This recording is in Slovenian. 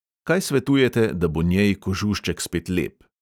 Kaj svetujete, da bo njej kožušček spet lep?